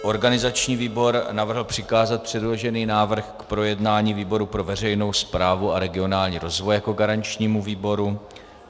Organizační výbor navrhl přikázat předložený návrh k projednání výboru pro veřejnou správu a regionální rozvoj jako garančnímu výboru.